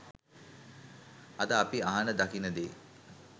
අද අපි අහන දකින දේ